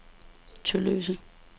Tølløse